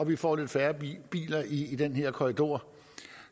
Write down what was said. vi får lidt færre biler i den her korridor